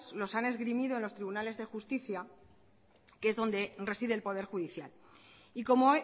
los han esgrimido en los tribunales de justicia que es donde reside el poder judicial y como